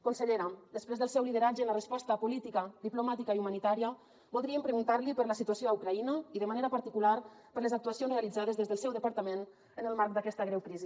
consellera després del seu lideratge en la resposta política diplomàtica i humanitària voldríem preguntar li per la situació a ucraïna i de manera particular per les actuacions realitzades des del seu departament en el marc d’aquesta greu crisi